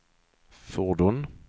fordon